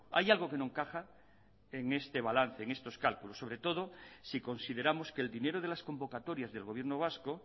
hay algo que no encaja en este balance en estos cálculos sobre todo si consideramos que el dinero de las convocatorias del gobierno vasco